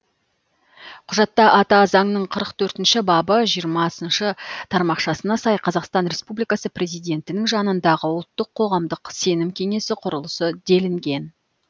құжатта ата заңның қырық төртінші бабы жиырмасыншы тармақшасына сай қазақстан республикасы президентінің жанындағы ұлттық қоғамдық сенім кеңесі құрылсын делінген